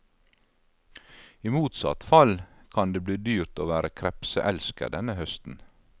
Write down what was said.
I motsatt fall kan det bli dyrt å være krepseelsker denne høsten.